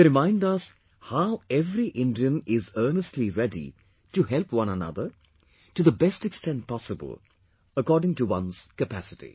They remind us how every Indian is earnestly ready to help one another, to the best extent possible, according to one's capacity